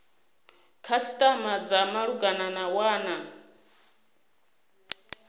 khasitama dza malugana na wana